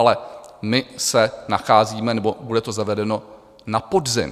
Ale my se nacházíme... nebo bude to zavedeno na podzim.